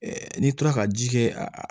n'i tora ka ji kɛ a